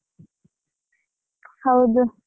ಹೌದು.